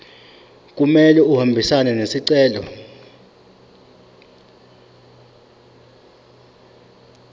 kumele ahambisane nesicelo